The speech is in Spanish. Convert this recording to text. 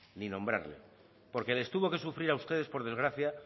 ni nombrarle porque les tuvo que sufrir a ustedes por desgracia